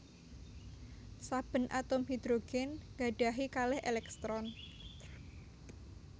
Saben atom hidrogen gadahi kalih elektron